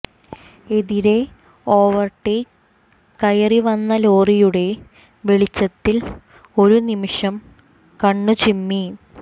എതിരെ ഓവർടേക്ക് കയറി വന്ന ലോറിയുടെ വെളിച്ചത്തിൽ ഒരു നിമിഷം കണ്ണുചിമ്മി